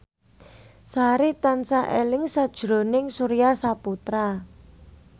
Sari tansah eling sakjroning Surya Saputra